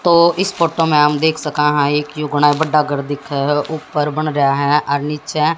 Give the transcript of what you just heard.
तो इस फोटो में हम देख सका हैं एक यो बड़ा ए घर दिखअ है ऊपर बनरा है और नीचे --